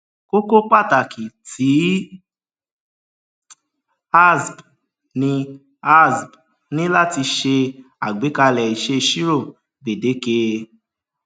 kókó pàtàkì ti asb ni asb ni láti ṣe àgbékalè ìṣèṣirò gbèdéke